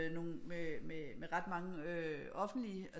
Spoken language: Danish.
Med nogle med ret mange øh offentlige